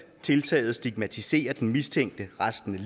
tiltaget stigmatiserer den mistænkte resten